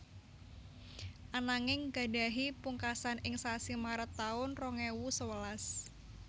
Ananging gadhahi pungkasan ing sasi Maret taun rong ewu sewelas